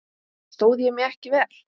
Stóð ég mig ekki vel?